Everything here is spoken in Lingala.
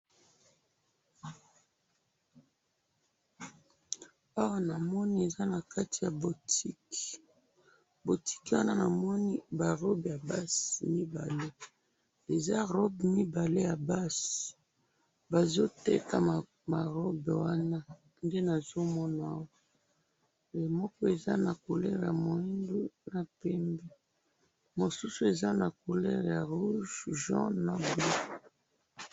Oyo na moni eza na kati ya botike, oyo na moni eza ba robe ya basi mibale, bazoteka ba robe wana nde nazo mona wana. Moko eza na couleur ya moindo, rouge, jaune